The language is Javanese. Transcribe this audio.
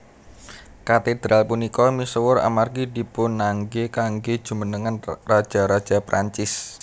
Katedral punika misuwur amargi dipunanggé kanggé jumenengan raja raja Prancis